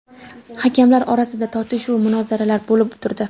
Hakamlar orasida tortishuv va munozaralar bo‘lib turdi.